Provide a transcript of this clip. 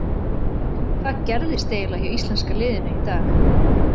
Hvað gerðist eiginlega hjá íslenska liðinu í dag?